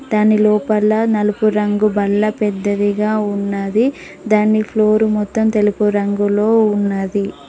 దాని లోపల నలుపు రంగు బల్ల పెద్దదిగా ఉన్నది దాని ఫ్లోర్ మొత్తం తెలుపు రంగులో ఉన్నది.